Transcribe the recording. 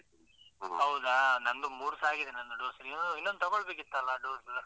ಹೌದಾ, ನನ್ನದು ಮೂರುಸಾ ಆಗಿದೆ ನನ್ನದು dose. ಇನ್ನೊಂದು ತಗೊಳ್ಬೇಕಿತ್ತಲ್ಲಾ ಅದು dose?